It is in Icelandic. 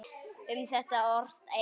Um þetta orti Egill